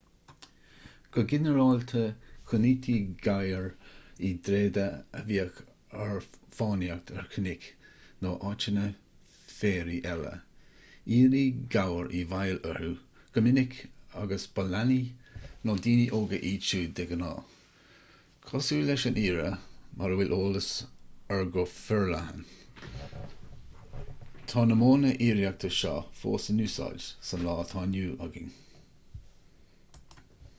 go ginearálta choinnítí gabhair i dtréada a bhíodh ar fánaíocht ar chnoic nó áiteanna féaraigh eile aoirí gabhar i bhfeighil orthu go minic agus ba leanaí nó daoine óga iad siúd de ghnáth cosúil leis an aoire mar a bhfuil eolas air go forleathan tá na modhanna aoireachta seo fós in úsáid sa lá atá inniu againn